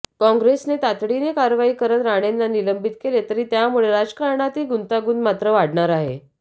कॉंग्रेसने तातडीने कारवाई करत राणेंना निलंबित केले तरी त्यामुळे राजकारणातील गुंतागुंत मात्र वाढणार आहे